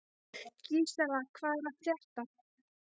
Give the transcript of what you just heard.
Gísela, hvað er að frétta?